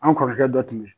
An kɔrɔkɛ dɔ tun be yen